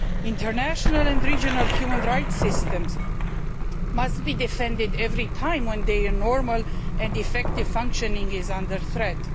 International and regional human rights systems must be defended every time their normal and effective functioning is under threat.